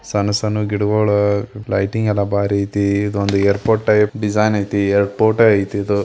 ಸಣ್ಣ ಸಣ್ಣ ಗಿಡಗುಳ್ ಲೈಟಿಂಗ್ ಎಲ್ಲಾ ಬಾರಿ ಐತಿ ಇದೊಂದ ಏರ್ಪೋರ್ಟ್ ಟೈಪ್ ಡಿಸೈನ್ ಐತಿ ಏರ್ಪೋರ್ಟ್ ಐತಿ ಇದು.